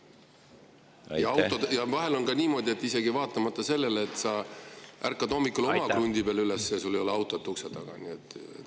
Ja vahel on ka niimoodi, et isegi vaatamata sellele, et sa ärkad hommikul oma krundi peal üles, sul ei ole autot ukse taga.